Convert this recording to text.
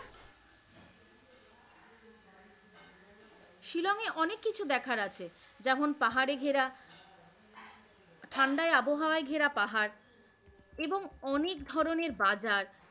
ওখানে অনেক কিছু দেখার আছে যেমন পাহাড়ের ঘেরা ঠান্ডায় আবহাওয়ায় ঘেরা পাহাড় এবং অনেক ধরনের বাজার।